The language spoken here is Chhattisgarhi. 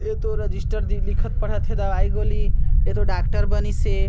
ए तो रजिस्टर दिख लिखत पढ़त हे दवाई गोली एतो डॉक्टर बनिस हे।